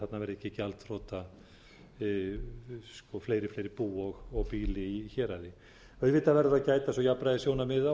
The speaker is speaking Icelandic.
þarna verði ekki gjaldþrota fleiri fleiri bú og býli í héraði auðvitað verður að gæta svo jafnræðissjónarmiða